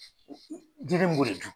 Jiden b'o le dun.